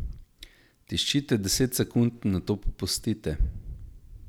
Tiščite deset sekund, nato popustite.